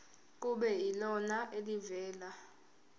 kube yilona elivela